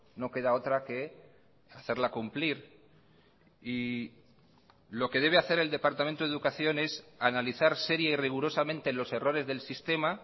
no queda otra que hacerla cumplir y lo que debe hacer el departamento de educación es analizar seria y rigurosamente los errores del sistema